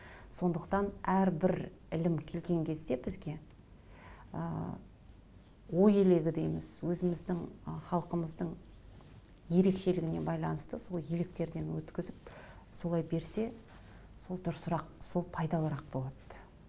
сондықтан әрбір ілім келген кезде бізге ы ой елегі дейміз өзіміздің халқымыздың ерекшелігіне байланысты сол електерден өткізіп солай берсе сол дұрысырақ сол пайдалырақ болады